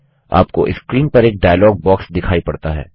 आपको स्क्रीन पर एक डाइलॉग बॉक्स दिखाई पड़ता है